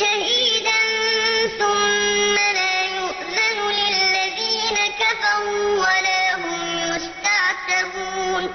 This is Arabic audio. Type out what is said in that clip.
شَهِيدًا ثُمَّ لَا يُؤْذَنُ لِلَّذِينَ كَفَرُوا وَلَا هُمْ يُسْتَعْتَبُونَ